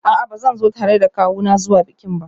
A'a, ba zan zo tare da kawuna zuwa bikin ba